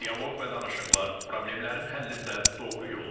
Dialoq və danışıqlar problemlərin həllində doğru yoldur.